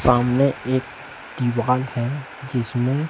सामने एक दीवाल है जिसमें--